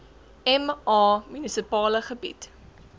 ma munisipale gebied